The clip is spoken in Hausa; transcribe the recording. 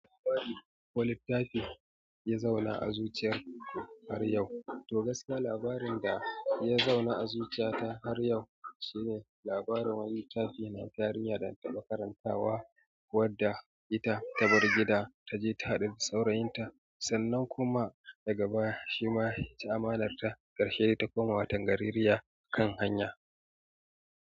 Labari ko littafi ya zauna a zuciyarku har yau. To gaskiya labarin da ya zauna a zuciyata har yau shine labarin wani littafi na wata yarinya dana taɓa karanta wa wadda ita tabar gida taje ta haɗu da saurayinta sannan kuma daga baya shima yaci amanarta ƙarshe dai ta koma wata gaririya kan hanya.